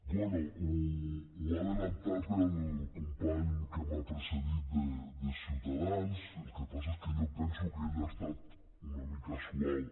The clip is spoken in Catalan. bé ho ha avançat el company que m’ha precedit de ciutadans el que passa és que jo penso que ell ha estat una mica suau